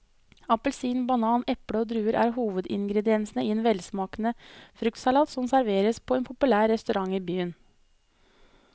Appelsin, banan, eple og druer er hovedingredienser i en velsmakende fruktsalat som serveres på en populær restaurant i byen.